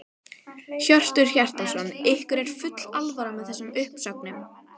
Hjörtur Hjartarson: Ykkur er full alvara með þessum uppsögnum?